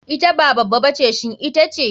Ita ba baba ba ce shin ita ce?